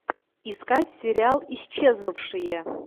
искать сериал исчезнувшие